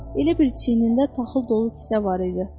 Elə bil çiynində taxıl dolu kisə var idi.